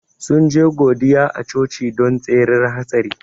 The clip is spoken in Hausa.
Sun je godiya a coci don tsirar hatsari.